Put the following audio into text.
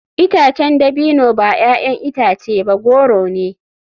Itacen dabino ba 'ya'yan itace ba goro ne.